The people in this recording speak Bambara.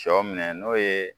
Sɔ minɛ n'o ye